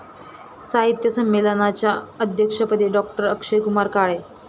साहित्य संमेलनाच्या अध्यक्षपदी डॉ.अक्षयकुमार काळे